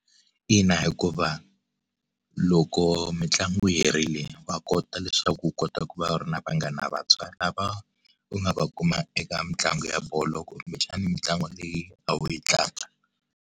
Ina hikuva loko mitlangu yi herile wa kota leswaku u kota ku va ri na vanghana vantshwa lava, u nga va kuma eka mitlangu ya bolo kumbexana mitlangu leyi a wu yi tlanga.